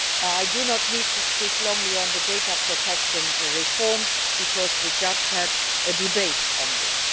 I do not need to speak very much on the data protection reform, because we just had a debate on this.